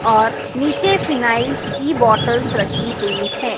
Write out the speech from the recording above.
और नीचे फिनायल्स की बॉटल्स रखी हुई है।